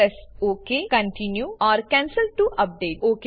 press okay continue or cancel to update